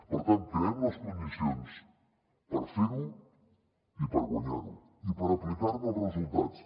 per tant creem les condicions per fer ho i per guanyar ho i per aplicar ne els resultats